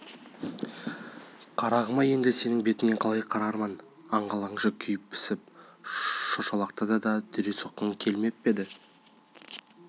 қарағым-ай енді сенің бетіңе қалай қарармын аңғал аңшы күйіп-пісіп шошалақтады да қалды дүре соққың келмеп пе еді